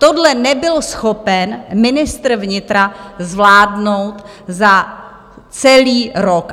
Tohle nebyl schopen ministr vnitra zvládnout za celý rok.